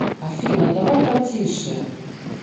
афина давай потише